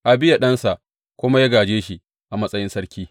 Abiya ɗansa kuma ya gāje shi a matsayin sarki.